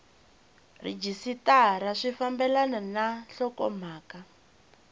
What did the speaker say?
rhejisitara swi fambelana na nhlokomhaka